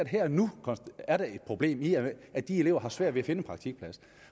her og nu er et problem i at de elever har svært ved at finde en praktikplads